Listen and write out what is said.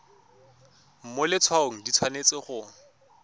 mo letshwaong di tshwanetse go